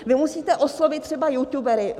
Vy musíte oslovit třeba youtubery.